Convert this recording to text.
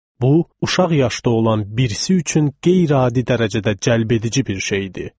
Bu, uşaq yaşda olan birisi üçün qeyri-adi dərəcədə cəlbedici bir şey idi.